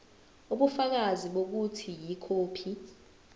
ubufakazi bokuthi ikhophi